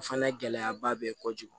O fana gɛlɛyaba bɛ ye kojugu